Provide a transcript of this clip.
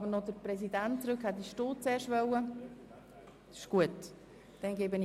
Der Kommissionspräsident möchte nachher sprechen.